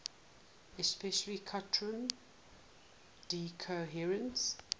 especially quantum decoherence